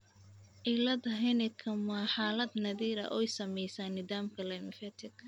cilada Hennekam waa xaalad naadir ah oo saamaysa nidaamka lymfatic.